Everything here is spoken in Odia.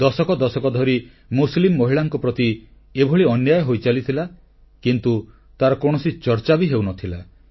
ଦଶକ ଦଶକ ଧରି ମୁସଲିମ୍ ମହିଳାଙ୍କ ପ୍ରତି ଏଭଳି ଅନ୍ୟାୟ ହୋଇ ଚାଲିଥିଲା କିନ୍ତୁ ତାର କୌଣସି ଚର୍ଚ୍ଚା ବି ହେଉନଥିଲା